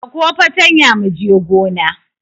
Ɗauko fatanya mu je gona!